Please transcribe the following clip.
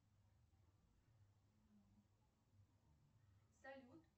салют